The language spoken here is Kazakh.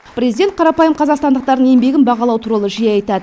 президент қарапайым қазақстандықтардың еңбегін бағалау туралы жиі айтады